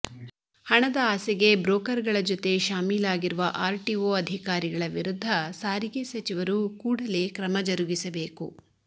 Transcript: ಹಣದ ಆಸೆಗೆ ಬ್ರೋಕರ್ ಗಳ ಜೊತೆ ಶಾಮಿಲಾಗಿರುವ ಆರ್ಟಿಓ ಅಧಿಕಾರಿಗಳ ವಿರುದ್ಧ ಸಾರಿಗೆ ಸಚಿವರು ಕೂಡಲೇ ಕ್ರಮ ಜರುಗಿಸಬೇಕು